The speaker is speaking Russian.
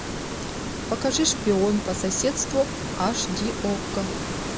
покажи шпион по соседству аш ди окко